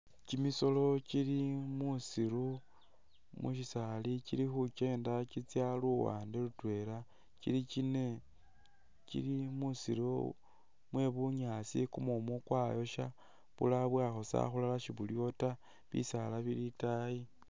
Kyimisoolo kyili musiru mushisaali kyili khukyenda kitsya luwande lutwela ,kyili kyine ,kyili musiru mwe bunyaasi kumumu kwayosha bulala bwakhosa akhulala shibuliwo taa, bisaala bili itaayi